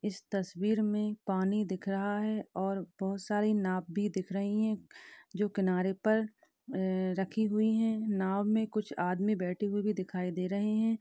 इस तस्वीर में पानी दिख रहा है और बहुत सारी नाँव भी दिख रही है जो किनारे पर आ रखी हुई है नाव में कुछ आदमी बैठे हुए भी दिखाई दे रहे है।